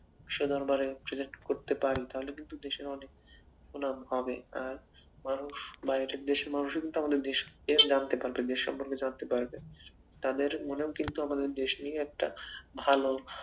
করতে পারি, তাহলে কিন্তু দেশের অনেক সুনাম হবে আর মানুষ বাইরের দেশের মানুষও কিন্তু আমাদের দেশকে জানতে পারবে দেশ সম্পর্কে জানতে পারবে। তাদের মনেও কিন্তু আমাদের দেশ নিয়ে একটা ভালো